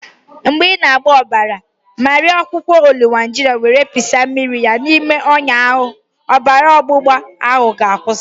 Mgbe ị na-agba ọbara, mariee akwukwo ọlawunjina were pịsa mmiri ya n'ime ọnya ahụ, ọbara ọgbụgba ahụ ga-akwụsị.